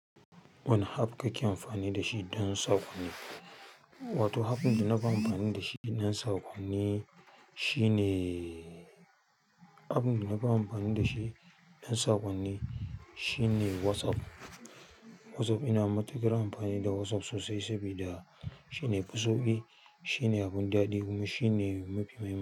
Wane app kake amfani da shi don saƙonni? Wato, app ɗin da nafi amfani da shi don saƙonni shine, app ɗin da nafi amfani da shi don saƙonni shine WhatsApp. WhatsApp ina matuƙar amfani da WhatsApp sosai saboda shine ya fi sauƙi, shine abun daɗi kuma shine mafi mahiman.